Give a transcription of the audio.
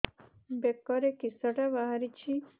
ବେକରେ କିଶଟା ବାହାରିଛି